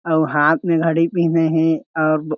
अउ हाथ में घड़ी पिहिने हे अब--